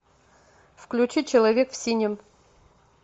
включи человек в синем